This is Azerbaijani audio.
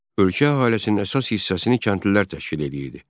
Ölkə əhalisinin əsas hissəsini kəndlilər təşkil eləyirdi.